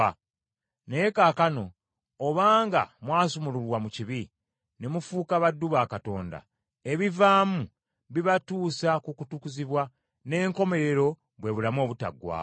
Naye kaakano obanga mwasumululwa mu kibi, ne mufuuka baddu ba Katonda, ebivaamu bibatuusa ku kutukuzibwa, n’enkomerero bwe bulamu obutaggwaawo.